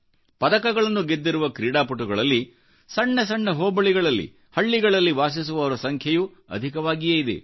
ಪದಕಗಳನ್ನು ಗೆದ್ದಿರುವ ಕ್ರೀಡಾಪಟುಗಳಲ್ಲಿ ಸಣ್ಣ ಸಣ್ಣಹೋಬಳಿಗಳಲ್ಲಿ ಮತ್ತು ಹಳ್ಳಿಗಳಲ್ಲಿ ವಾಸಿಸುವವರ ಸಂಖ್ಯೆಯೂ ಅಧಿಕವಾಗಿಯೇ ಇದೆ